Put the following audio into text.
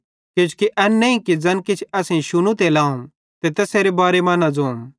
किजोकि एन नईं कि ज़ैन किछ असेईं शुनू ते लाहू ते तैसेरे बारे मां ज़ोतम